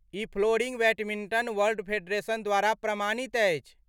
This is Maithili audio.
ई फ्लोरिंग बैडमिंटन वर्ल्ड फेडरेशन द्वारा प्रमाणित अछि।